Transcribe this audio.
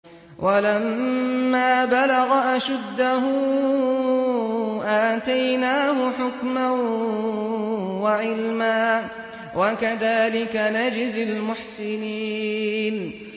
وَلَمَّا بَلَغَ أَشُدَّهُ آتَيْنَاهُ حُكْمًا وَعِلْمًا ۚ وَكَذَٰلِكَ نَجْزِي الْمُحْسِنِينَ